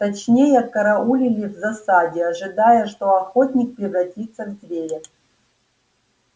точнее караулили в засаде ожидая что охотник превратится в зверя